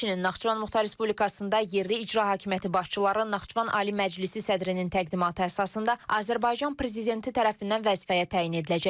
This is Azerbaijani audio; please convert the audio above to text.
Həmçinin, Naxçıvan Muxtar Respublikasında yerli icra hakimiyyəti başçıları Naxçıvan Ali Məclisi sədrinin təqdimatı əsasında Azərbaycan prezidenti tərəfindən vəzifəyə təyin ediləcək.